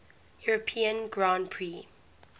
european grand prix